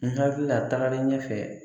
N hakili la tagalen ɲɛ fɛ